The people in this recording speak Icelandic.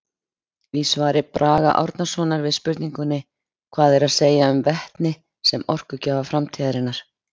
Í svari Braga Árnasonar við spurningunni Hvað er að segja um vetni sem orkugjafa framtíðarinnar?